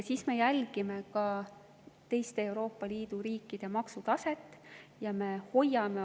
Me jälgime ka teiste Euroopa Liidu riikide maksutaset.